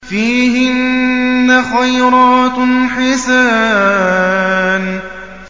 فِيهِنَّ خَيْرَاتٌ حِسَانٌ